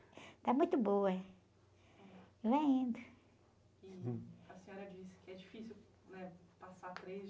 Está muito boa, e vai indo. a senhora disse que é difícil, né? Passar três